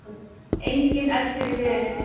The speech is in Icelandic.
Enginn eldur í vélinni